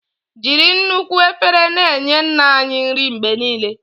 Jiri nnukwu efere na-enye Nna anyị nri mgbe niile.